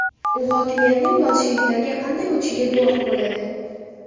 U hokimiyatning bolsheviklarga qanday o‘tishiga guvoh bo‘ladi.